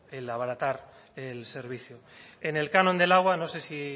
el abaratar el servicio en el canon del agua no sé si